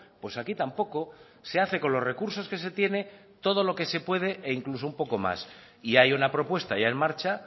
pues aquí tampoco se hace con los recursos que se tiene todo lo que se puede e incluso un poco más y hay una propuesta ya en marcha